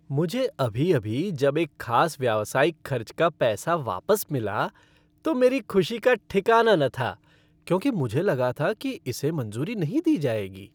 मुझे अभी अभी जब एक खास व्यावसायिक खर्च का पैसा वापस मिला तो मेरी खुशी का ठिकाना न था क्योंकि मुझे लगा था कि इसे मंज़ूरी नहीं दी जाएगी।